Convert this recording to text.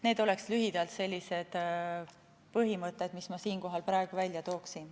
Need oleks lühidalt sellised põhimõtted, mis ma siinkohal praegu ära tooksin.